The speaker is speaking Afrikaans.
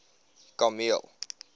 kameel